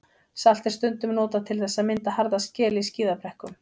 Salt er stundum notað til þess að mynda harða skel í skíðabrekkum.